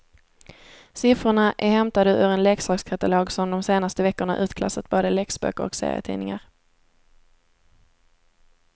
Siffrorna är hämtade ur en leksakskatalog som de senaste veckorna utklassat både läxböcker och serietidningar.